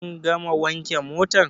Kun gama wanke motan?